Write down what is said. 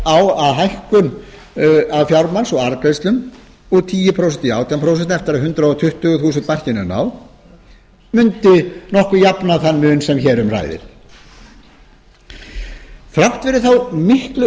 hækkun á skatt af fjármagns og arðgreiðslum úr tíu prósent í átján prósent eftir að hundrað tuttugu þúsund króna markinu er náð mundi nokkuð jafna þann mun sem hér um ræðir þrátt fyrir þá miklu